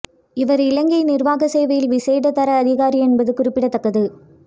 இவர் இலங்கை நிர்வாக சேவையில் விசேட தர அதிகாரி என்பது குறிப்பித்தக்கது